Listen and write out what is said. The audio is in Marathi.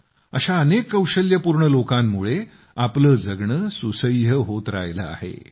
अशा अनेक कौशल्यपूर्ण लोकांमुळे आपले जगणे सुसह्य होत राहिले आहे